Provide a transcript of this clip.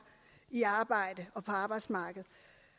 på arbejdsmarkedet